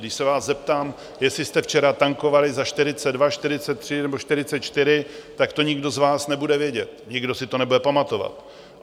Když se vás zeptám, jestli jste včera tankovali za 42, 43 nebo 44, tak to nikdo z vás nebude vědět, nikdo si to nebude pamatovat.